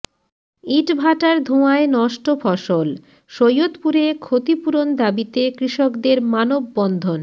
ইটভাটার ধোঁয়ায় নষ্ট ফসল সৈয়দপুরে ক্ষতিপূরণ দাবিতে কৃষকদের মানববন্ধন